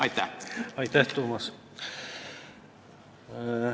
Aitäh, Toomas!